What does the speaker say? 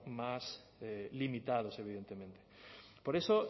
más limitados evidentemente por eso